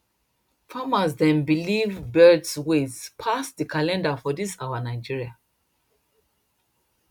farmers dem believe birds ways pass the calendar for dis our nigeria